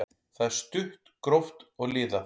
Það er stutt, gróft og liðað.